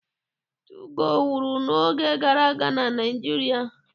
Tugoo wuru n'oge gara aga na Naịjirịa.